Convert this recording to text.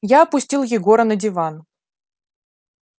я опустил егора на диван